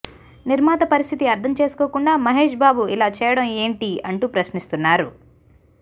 నిర్మాత పరిస్థితి అర్థం చేసుకోకుండా మహేష్బాబు ఇలా చేయడం ఏంటీ అంటూ ప్రశ్నిస్తున్నారు